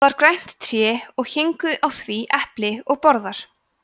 það var grænt tré og héngu á því epli og borðar